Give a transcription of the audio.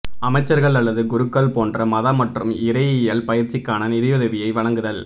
அமைச்சர்கள் அல்லது குருக்கள் போன்ற மத மற்றும் இறையியல் பயிற்சிக்கான நிதியுதவியை வழங்குதல்